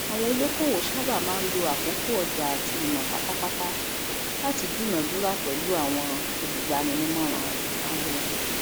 àwọn olókòwò sàbà máa ń lo àkókò ọjà àti ìmọ pátápátá láti dúnàádúrà pelú àwọn olúgbánímóràn ìnàwó